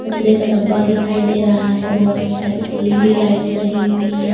कचरे का डब्बा दिखाई दे रहा है बहुत सारी एल_ई_डी लाइट्स लगी हुई है।